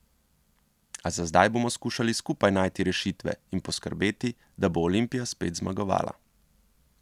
A za zdaj bomo skušali skupaj najti rešitve in poskrbeti, da bo Olimpija spet zmagovala.